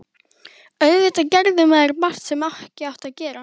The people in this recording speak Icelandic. Auðvitað gerði maður margt sem ekki átti að gera.